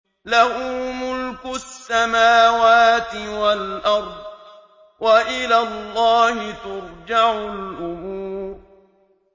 لَّهُ مُلْكُ السَّمَاوَاتِ وَالْأَرْضِ ۚ وَإِلَى اللَّهِ تُرْجَعُ الْأُمُورُ